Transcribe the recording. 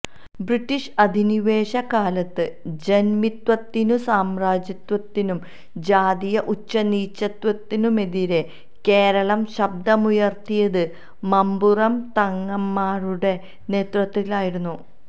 British അധിനിവേശ കാലത്ത് ജന്മിത്വത്തിനും സാമ്രാജ്യത്വത്തിനും ജാതീയ ഉച്ചനീചത്വത്തിനുമെതിരെ കേരളം ശബ്ദമുയര്ത്തിയത് മമ്പുറം തങ്ങന്മാരുടെ നേതൃത്വത്തിലായിരുന്നു